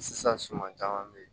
Sisan suman caman be yen